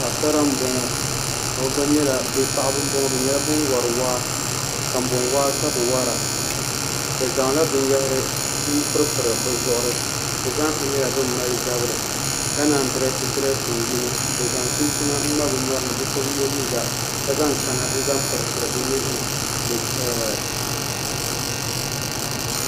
Paɣaba m bɔŋɔ bi nyɛla bin wori waa kanboŋ waa ka bi wora bi zaŋla binyahari n piripiri bi zuɣuri bi zaaha nyɛla bin mali zabiri ka naan yi dirɛsi dirɛsin yini bi zaŋ chinchina n ŋma bi nyori ni bi so bi yɛ liiga ka zaŋ kana n zaŋ piripiri bi nuhuni ni